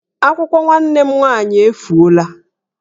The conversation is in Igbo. Akwụkwọ nwanne m nwaanyị efuola